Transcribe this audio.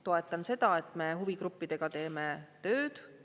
Toetan seda, et me huvigruppidega teeme tööd.